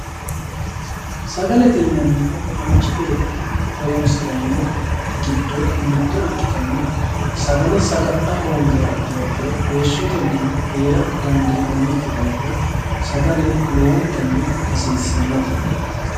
Sagalete yinnannihu manchi beetti horonsiranori giddo mitto ikkittanna sagale sagalla hoongiha ikkiha ikkiro heeshshoteninno heera dandinannikki daafira sagale lowontanni hasiisanote.